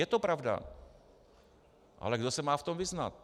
Je to pravda, ale kdo se v tom má vyznat?